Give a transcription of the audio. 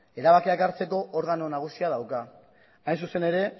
erabakiak hartzeko organo nagusia dauka hain zuzen ere